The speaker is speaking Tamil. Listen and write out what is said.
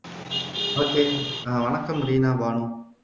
okay அ வணக்கம் பானு